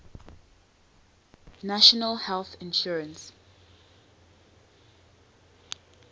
national health insurance